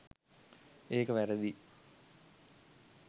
ඒක වැරදියි